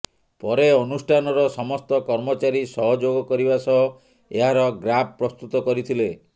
ପରେ ଅନୁଷ୍ଠାନର ସମସ୍ତ କର୍ମଚାରୀ ସହଯୋଗ କରିବା ସହ ଏହାର ଗ୍ରାଫ୍ ପ୍ରସ୍ତୁତ କରିଥିଲେ